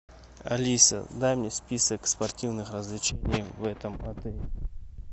алиса дай мне список спортивных развлечений в этом отеле